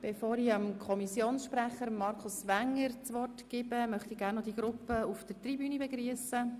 Bevor ich dem Kommissionssprecher Markus Wenger das Wort gebe, möchte ich noch die Gruppe auf der Tribüne begrüssen.